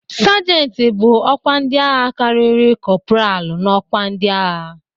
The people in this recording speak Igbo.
Sajenti bụ ọkwa ndịagha karịrị kọpral n'ọkwa ndịagha..